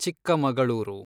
Chikkamagaluru